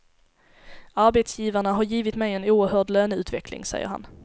Arbetsgivarna har givit mig en oerhörd löneutveckling, säger han.